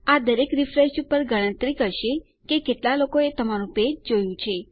આ દરેક રીફ્રેશ ઉપર ગણતરી કરશે કે કેટલા લોકોએ તમારું પેજ જોયું છે